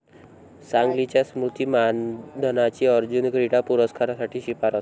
सांगलीच्या स्मृती मानधनाची अर्जुन क्रीडा पुरस्कारासाठी शिफारस